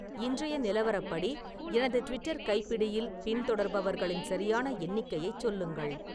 இன்றைய நிலவரப்படி எனது ட்விட்டர் கைப்பிடியில் பின்தொடர்பவர்களின் சரியான எண்ணிக்கையைச் சொல்லுங்கள்